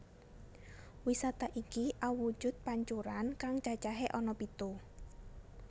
Wisata iki awujud pancuran kang cacahé ana pitu